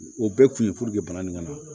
O bɛɛ kun ye bana nin ka na